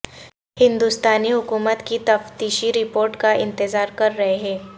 ہندوستانی حکومت کی تفتیشی رپورٹ کا انتظار کر رہے ہیں